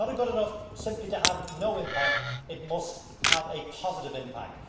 It is not good enough simply to have no impact it must have a positive impact.